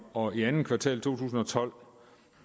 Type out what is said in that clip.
og i andet kvartal to tusind og tolv